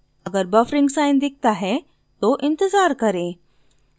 अगर buffering sign दिखता है तो इंतज़ार करें